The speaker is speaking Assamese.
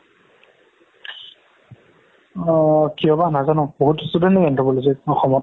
অ কিয় বা নাজানো বহুত student ও anthropology অসমত